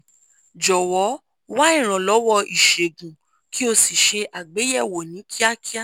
jọ̀wọ́ wá ìrànlọ́wọ́ ìṣègùn kí o sì ṣe àgbéyẹ̀wò ní kíákíá